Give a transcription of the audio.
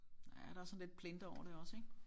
Ja der er sådan lidt plinter over det også ik